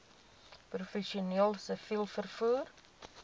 professioneel siviel vervoer